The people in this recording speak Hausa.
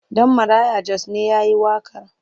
Ɗan Maraya Jos ne ya yi waƙar?